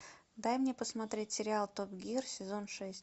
дай мне посмотреть сериал топ гир сезон шесть